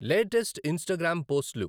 latest Instagram పోస్ట్లు